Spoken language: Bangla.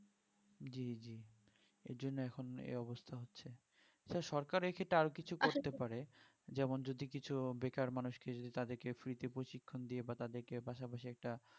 জি জি এইজন্য এখন এই অবস্থা তা সরকার এক্ষেত্রে আরো কিছু করতে পারে যেমন যদি কিছু বেকার মানুষকে যদি তাদেরকে free তে প্রশিক্ষণ দিয়ে বা তাদেরকে পাশাপাশি একটা